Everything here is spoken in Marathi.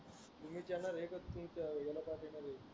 मी विचारणार